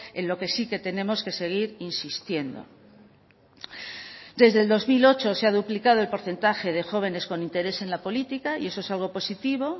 en lo que sí que tenemos que seguir insistiendo desde el dos mil ocho se ha duplicado el porcentaje de jóvenes con interés en la política y eso es algo positivo